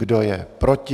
Kdo je proti?